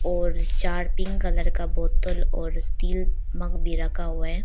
और चार pink colour का बोतल और स्टील मग भी रखा हुआ है।